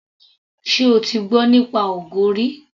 Ṣé o ti gbọ́ nípa ogo rí.